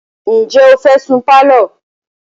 Ǹjẹ́ o fẹ́ sun pálọ̀?